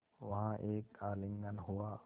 वहाँ एक आलिंगन हुआ